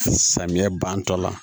Samiyɛ bantɔla